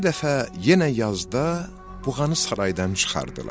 Bir dəfə yenə yazda buğanı saraydan çıxardılar.